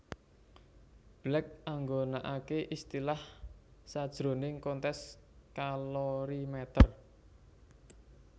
Black nggunakake istilah sajroning konteks kalorimeter